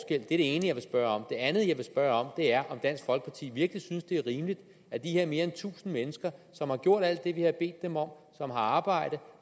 det er det ene jeg vil spørge om det andet jeg vil spørge om er om dansk folkeparti virkelig synes det er rimeligt at de her mere end tusind mennesker som har gjort alt det vi har bedt dem om som har arbejdet